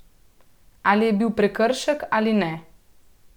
Ali je bil prekršek ali ne?